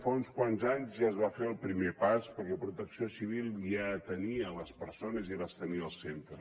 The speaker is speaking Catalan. fa uns quants anys ja es va fer el primer pas perquè protecció civil ja atenia les persones i les tenia al centre